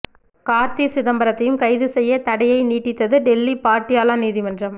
கார்த்தி சிதம்பரத்தையும் கைது செய்ய தடையை நீட்டித்தது டெல்லி பாட்டியாலா நீதிமன்றம்